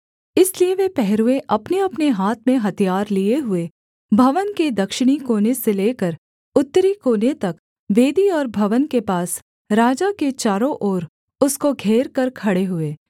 इसलिए वे पहरुए अपनेअपने हाथ में हथियार लिए हुए भवन के दक्षिणी कोने से लेकर उत्तरी कोने तक वेदी और भवन के पास राजा के चारों ओर उसको घेरकर खड़े हुए